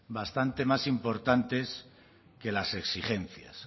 bastante más importantes que las exigencias